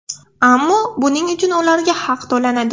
Ammo buning uchun ularga haq to‘lanadi.